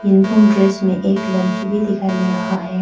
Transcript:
Uniform dress में एक लडकी भी दिखाई मिल रहा है।